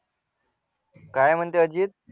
काय म्हणतो अजित